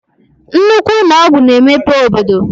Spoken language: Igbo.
Nnukwu ụnọ ọgwụ na-emepe obodo.